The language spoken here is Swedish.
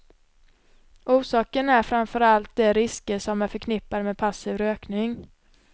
Orsaken är framför allt de risker som är förknippade med passiv rökning.